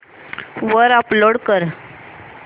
वर अपलोड कर